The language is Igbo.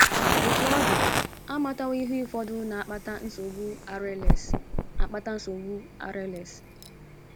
Otú ọ dị, a matawo ihe ụfọdụ na - akpata nsogbu RLS akpata nsogbu RLS.